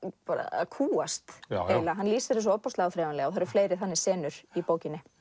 að kúgast eiginlega hann lýsir þessu svo áþreifanlega það eru fleiri þannig senur í bókinni